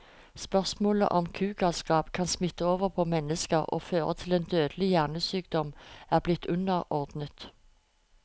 Spørsmålet om kugalskap kan smitte over på mennesker og føre til en dødelig hjernesykdom, er blitt underordnet.